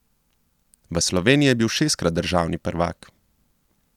V Sloveniji je bil šestkrat državni prvak.